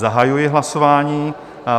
Zahajuji hlasování.